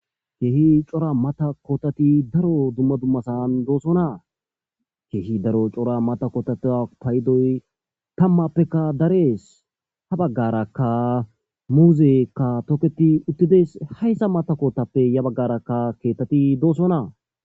Keehi cora mata kootati daro dumma dummasan doosonaa keehi daro cora mata kotata paydoy tammappeka darees ha baggarakka muuzekka toketi uttides hayssa mata kotappe ya baggarakka keettati doosonaa.